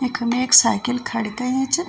यखम एक साइकिल खड़ीं कईं च।